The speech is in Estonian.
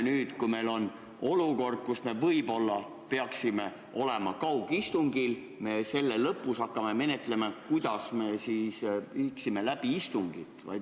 Nüüd, kui meil on olukord, kus me võib-olla peaksime olema kaugistungil, hakkame me selle lõpus menetlema, kuidas me võiksime istungit läbi viia.